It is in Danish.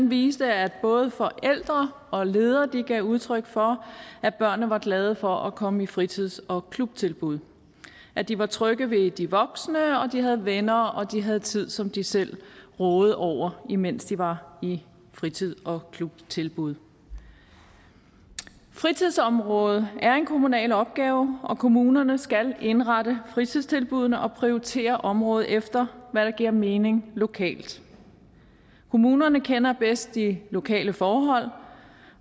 viste at både forældre og ledere gav udtryk for at børnene var glade for at komme i fritids og klubtilbuddet at de var trygge ved de voksne at de havde venner og at de havde tid som de selv rådede over imens de var i fritids og klubtilbuddet fritidsområdet er en kommunal opgave og kommunerne skal indrette fritidstilbuddene og prioritere området efter hvad der giver mening lokalt kommunerne kender bedst de lokale forhold